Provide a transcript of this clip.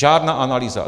Žádná analýza.